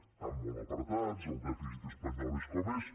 estan molt apretats el dèficit espanyol és com és